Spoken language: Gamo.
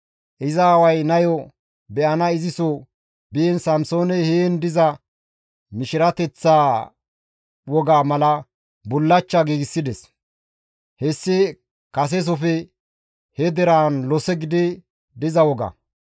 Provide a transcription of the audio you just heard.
Iza aaway nayo be7ana iziso biin Samsooney heen diza mishirateththa wogaa mala bullachcha giigsides; hessi kasesofe he deraan lose gidi diza woga.